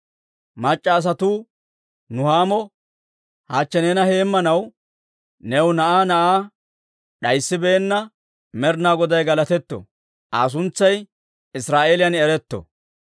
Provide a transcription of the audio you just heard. Mac'c'a asatuu Nuhaamo, «Hachche neena heemmanaw new na'aa na'aa d'ayisibeenna Med'inaa Goday galatetto! Aa suntsay Israa'eeliyan eretto!